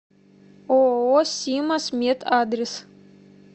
ооо симаз мед адрес